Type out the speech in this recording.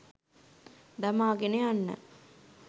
දමාගෙන යන්න.